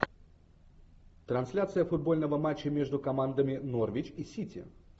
трансляция футбольного матча между командами норвич и сити